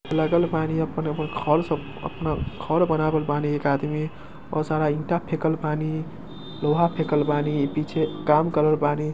लगल बानी आपन एगो घर सब अपन घर बनावल बानी एक आदमी बहुत सारा ईटा फेकल बानी लोहा फेकल बानी पीछे काम कर ने के बानी |